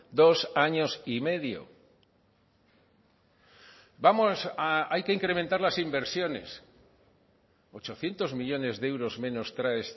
dos años y medio vamos a hay que incrementar las inversiones ochocientos millónes de euros menos trae